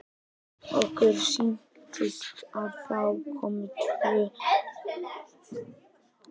Okkur sýnist að þá komi tvö svör til greina.